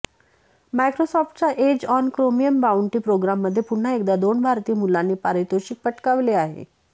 मायक्रोसॉफ्टच्या Edge on Chromium bounty प्रोग्राममध्ये पुन्हा एकदा दोन भारतीय मुलांनी पारितोषिक पटकाविले आहे